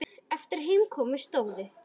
Eftir að heim kom stóðu